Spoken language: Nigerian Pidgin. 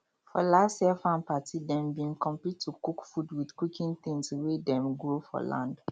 for last year farm party dem bin compete to cook food with cooking things wey dem grow for land